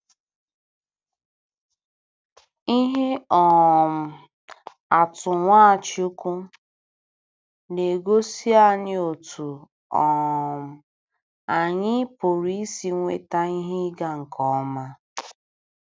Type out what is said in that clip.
Ihe um atụ Nwachukwu na-egosi anyị otú um anyị pụrụ isi nweta ihe ịga nke ọma.